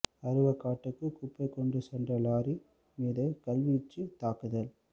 அருவக்காட்டுக்கு குப்பை கொண்டு சென்ற லொறி மீது கல்வீச்சு தாக்குதல்